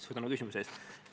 Suur tänu küsimuse eest!